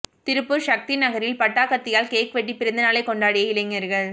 திருப்பூர் சக்தி நகரில் பட்டாக்கத்தியால் கேக் வெட்டி பிறந்தநாளை கொண்டாடிய இளைஞர்கள்